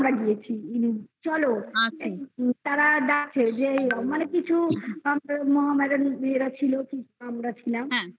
গিয়েছি ইনি চলো তাঁরা ডাকে যে মানে কিছু মোহামেডান মেয়েরা ছিল কিছু আমরা ছিলাম